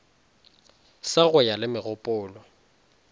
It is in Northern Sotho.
sa go ya le megopolo